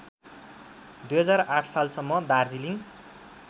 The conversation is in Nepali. २००८ सालसम्म दार्जिलिङ